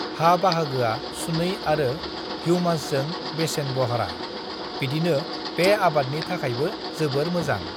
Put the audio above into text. "हा बाहागोआ सुनै आरो ह्यूमासजों बेसेनबह्रा, बिदिनो बे आबादनि थाखायबो जोबोर मोजां।"